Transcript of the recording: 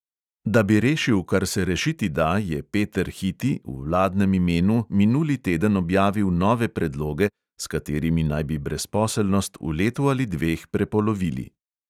Da bi rešil, kar se rešiti da, je peter hiti v vladnem imenu minuli teden objavil nove predloge, s katerimi naj bi brezposelnost v letu ali dveh prepolovili.